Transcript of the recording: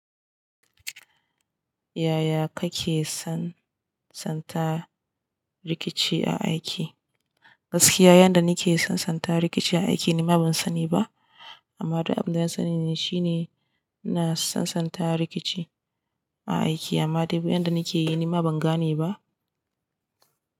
Yaya kake sansanta rikici a aiki? Gaskiya yanda nake sansanta rikici a aiki ni ma ban sani ba. Amma duk abin da na sani ne shine ina sansanta rikici a aiki amma duk yanda nake yi ni ma ban gane ba.